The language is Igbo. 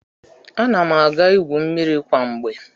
Ana m aga igwu mmiri kwa mgbe.